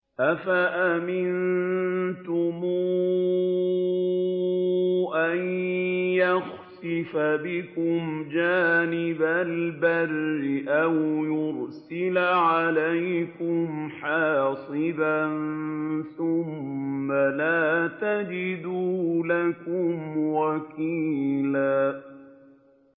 أَفَأَمِنتُمْ أَن يَخْسِفَ بِكُمْ جَانِبَ الْبَرِّ أَوْ يُرْسِلَ عَلَيْكُمْ حَاصِبًا ثُمَّ لَا تَجِدُوا لَكُمْ وَكِيلًا